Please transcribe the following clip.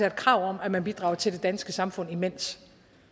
et krav om at man bidrager til det danske samfund imens